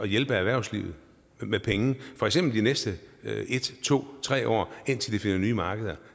hjælpe erhvervslivet med penge for eksempel de næste en to tre år indtil de finder nye markeder